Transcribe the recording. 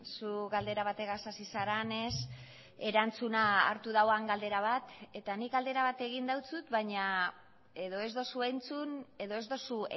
zu galdera bategaz hasi zarenez erantzuna hartu duen galdera bat eta nik galdera bat egin dizut baina edo ez duzu entzun edo ez duzu